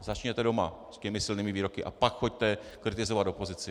Začněte doma s těmi silnými výroky, a pak choďte kritizovat opozici.